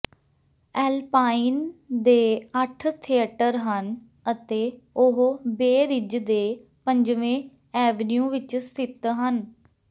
Alpine ਦੇ ਅੱਠ theatre ਹਨ ਅਤੇ ਉਹ ਬੇ ਰਿਜ ਦੇ ਪੰਜਵੇਂ ਐਵਨਿਊ ਵਿੱਚ ਸਥਿਤ ਹਨ